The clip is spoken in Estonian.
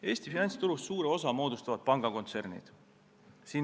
Eesti finantsturust suure osa moodustavad pangakontsernid.